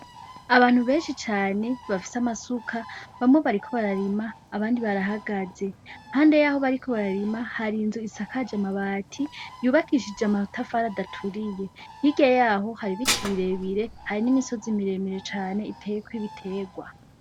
Abantu benshi cane bafise amasuka, bamwe bariko bararima abandi barahagaze. Impande yaho bariko bararima hari inzu isakaye amabati yubakishijwe amatafari adaturiye. Hirya yaho hari ibiti birebire hari n'imisozi miremire cane iteyeko ibiterwa.